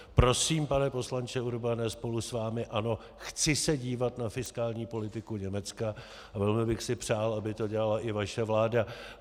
Prosím, pane poslanče Urbane, spolu s vámi ano, chci se dívat na fiskální politiku Německa, a velmi bych si přál, aby to dělala i vaše vláda.